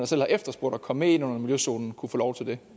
selv har efterspurgt at komme med ind under miljøzonen kunne få lov til det